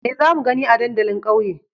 Me za mu gani a dandalin ƙauye?